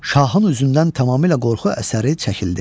Şahın üzündən tamamilə qorxu əsəri çəkildi.